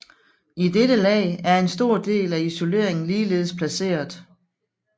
I dette lag er en stor del af isoleringen ligeledes placeret